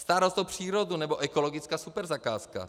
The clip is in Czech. Starost o přírodu nebo ekologická superzakázka.